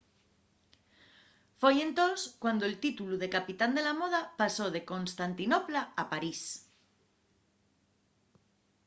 foi entós cuando'l títulu de capital de la moda pasó de constantinopla a parís